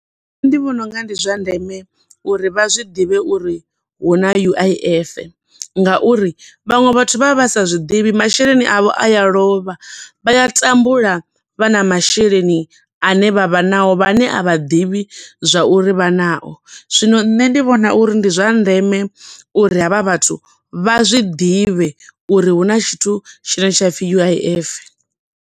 Ndi vhona unga ndi zwa ndeme uri vha zwiḓivhe uri hu na U_I_F nga uri, vhaṅwe vhathu vha vha vha sa zwiḓivhi, masheleni avho a a lovha, vha a tambula vha na masheleni ane vha vha nao, vha ne a vha ḓivhi zwa uri vha na o. Zwino nṋe ndi vhona uri ndi zwa ndeme uri havha vhathu vha zwi ḓivhe uri huna tshithu tshine tsha pfi U_I_F.